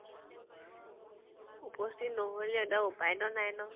উপস্থিত নহল যেতিয়া উপাইতো নাই ন।